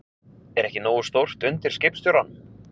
Er ekki nógu stórt undir skipstjóranum?